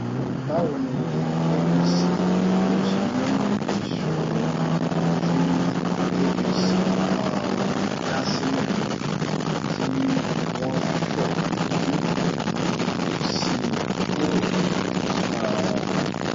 báwo ni apc yóò ṣe mú ìṣòro tí apc um dá sílẹ̀ tí wọ́n fẹ́ lójú um sí i kúrò fúnra wọn